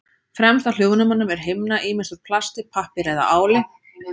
Fremst á hljóðnemum er himna, ýmist úr plasti, pappír eða áli.